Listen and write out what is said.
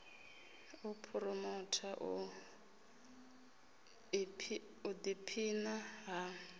u phuromotha u ḓiphina ha